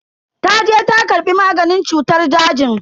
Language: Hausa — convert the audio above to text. Taje ta karbi maganin cutar dajin.